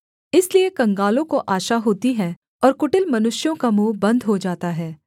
इसलिए कंगालों को आशा होती है और कुटिल मनुष्यों का मुँह बन्द हो जाता है